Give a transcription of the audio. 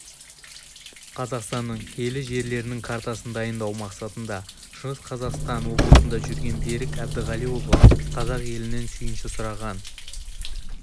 қазақстанның киелі жерлерінің картасын дайындау мақсатында шығыс қазақстан облысында жүрген берік әбдіғалиұлы қазақ елінен сүйінші сұраған